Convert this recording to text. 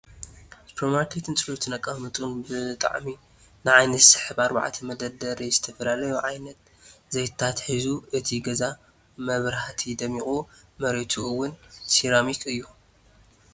ሱፐር ማርኬት ፅሬቱን ኣቀማምጥኡን ብጣዕሚ ንዓይኒ ዝስሕብ ኣርባዕተ መደርደሪ ዝትፍላክዩ ዓይነት ዝይትታት ሒዙ እቲ ግዛ ብመብራህቲ ድሚቁ መሬቱ እዉን ሴራሚክ እዩ።